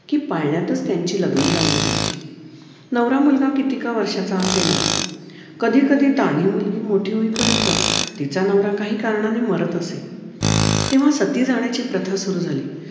कि पाळण्यातच त्यांची लग्न लावली जायची नवरा मुलगा किती का वर्षांचा असेना कधी कधी तान्ही मुलगी मोठी होईपर्यंत तिचा नवरा काही कारणाने मारत असे तेव्हा सती जाण्याची प्रथा सुरु झाली.